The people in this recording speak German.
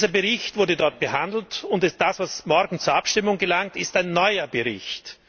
Dieser Bericht wurde dort behandelt, und das was morgen zur Abstimmung gelangt, ist ein neuer Bericht.